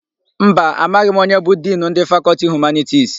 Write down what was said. Mba, amaghị m onye bụ Dinu ndị Fakọltị Humanitisi.